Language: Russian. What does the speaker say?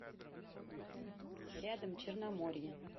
рядом черноморье